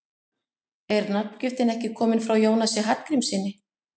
Er nafngiftin ekki komin frá Jónasi Hallgrímssyni?